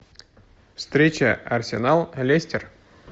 встреча арсенал лестер